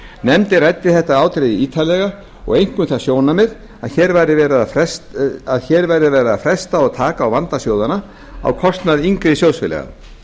nefndin ræddi þetta atriði ítarlega og einkum það sjónarmið að hér væri verið að fresta að taka á vanda sjóðanna á kostnað yngri sjóðfélaga